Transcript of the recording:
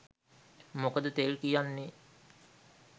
මොකද තෙල් කියන්නේ